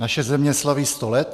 Naše země slaví sto let.